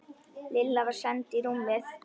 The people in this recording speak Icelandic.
Lilla var send í rúmið.